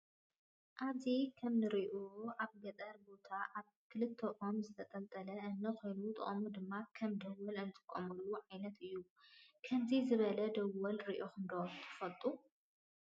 አብዚ ከመ እንሪኦ አብ ገጠር ቦታ አብ ክልተ ኦሞ ዝተጠልጠለ እምኒ ኮይኑ ጥቅሙ ድማ ከም ደወለ እንጥቀመሉ ዓይነት እዩ። ከምዚ ዝበለ ደወል ሪኢኩም ዶ ትፈልጡ?